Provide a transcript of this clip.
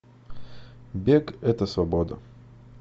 бег это свобода